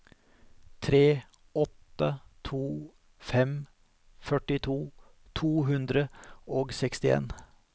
tre åtte to fem førtito to hundre og sekstien